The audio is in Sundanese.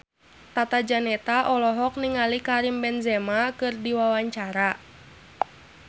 Tata Janeta olohok ningali Karim Benzema keur diwawancara